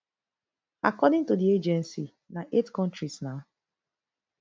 according to di agency na eight kontris na